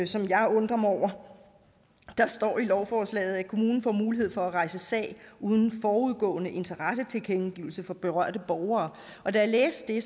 som jeg undrer mig over der står i lovforslaget at kommunen får mulighed for at rejse sag uden forudgående interessetilkendegivelse fra berørte borgere og da jeg læste det